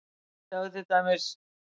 Sjáðu til dæmis